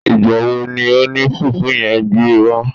Ìgbà wo ni oní fùfú yen gbé wá